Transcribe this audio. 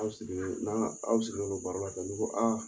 Aw sigilen don n'aw sigilen don baro la tan n'i ko aa